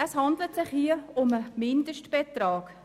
Es handelt sich hier um einen Mindestbetrag.